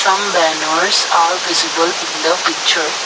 some banners are visible in the picture.